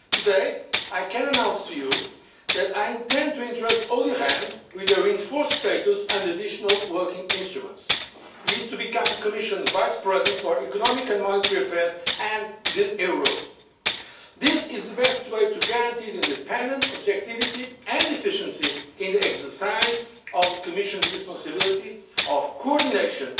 Today, I can announce to you that I intend to entrust Olli Rehn with a reinforced status and additional working instruments. He is to become Commission Vice President for economic and monetary affairs and the euro. This is the best way to guarantee independence, objectivity and efficiency in the exercise of the Commission's responsibility of coordination,